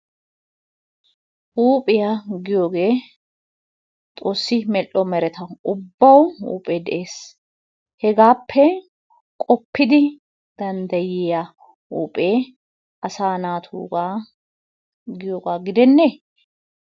Huuphiya giyogee xoossi medhdho mereta ubbawu huuphee de'ees. Hegaappe qoppidi danddayiya huuphee asaa naatuugaa giyogaa gidennee?